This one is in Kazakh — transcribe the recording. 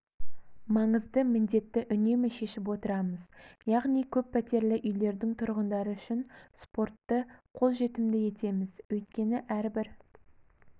маңызды міндетті үнемі шешіп отырамыз яғни көппәтерлі үйлердің тұрғындары үшін спортты қолжетімді етеміз өйткені әрбір